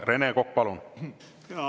Rene Kokk, palun!